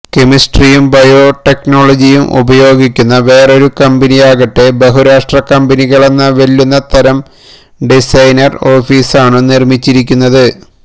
കെമിസ്ട്രിയും ബയോടെക്നോളജിയും ഉപയോഗിക്കുന്ന വേറൊരു കമ്പനിയാകട്ടെ ബഹുരാഷ്ട്ര കമ്പനികളെ വെല്ലുന്ന തരം ഡിസൈനർ ഓഫിസാണു നിർമിച്ചിരിക്കുന്നത്